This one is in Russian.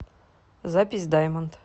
запись даймонд